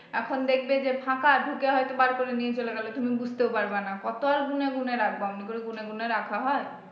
এখন দেখবে যে ফাঁকা ঢুকে হয়তো বার করে নিয়ে চলে গেলো তুমি বুঝতেও পারবা না কত আর গুনে গুনে রাখবা অমনি করে গুনে গুনে রাখা হয়।